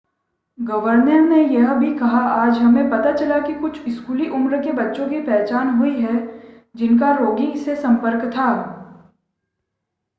governor ने यह भी कहा आज हमें पता चला है कि कुछ स्कूली उम्र के बच्चों की पहचान हुई है जिनका रोगी से संपर्क था